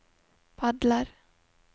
padler